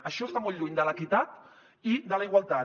això està molt lluny de l’equitat i de la igualtat